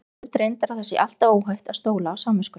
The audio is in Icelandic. Ég held reyndar að það sé alltaf óhætt að stóla á samviskuna.